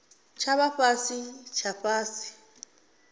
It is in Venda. tsha vha fhasi tsha fhasi